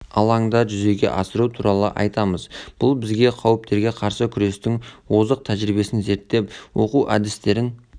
алаңда жүзеге асыру туралы айтамыз бұл бізге қауіптерге қарсы күрестің озық тәжірибесін зерттеп оқыту әдістерін